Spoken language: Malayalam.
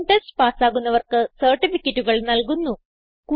ഓൺലൈൻ ടെസ്റ്റ് പാസ്സാകുന്നവർക്ക് സർട്ടിഫികറ്റുകൾ നല്കുന്നു